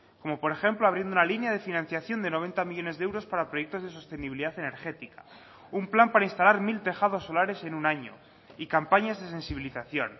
como por ejemplo abriendo una línea de financiación de noventa millónes de euros para proyectos de sostenibilidad energética un plan para instalar mil tejados solares en un año y campañas de sensibilización